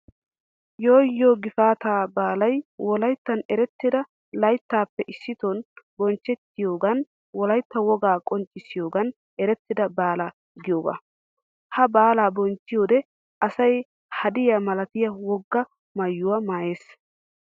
Yoo you gifaatta baalay wolayttan eretida layttaappe issiton bonchchettiyoogan wolaytta wogaa qonccissiyoogan eretida baala giyoogaa. Ha baala bonchchiyoode asya haadiyaa malatiyaa wogaa maayuwaa maayees.